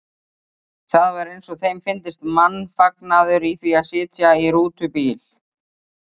Það var eins og þeim fyndist mannfagnaður í því að sitja í rútubíl.